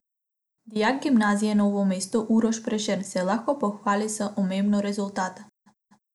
Dijak Gimnazije Novo mesto Uroš Prešern se lahko pohvali z omembo rezultata.